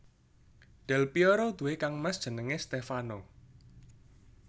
Del Pièro duwé kangmas jenengé Stèfano